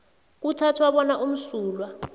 kuthathwa bona umsulwa